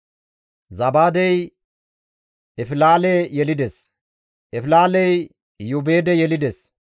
Zabaadey Efilaale yelides; Efilaaley Iyoobeede yelides;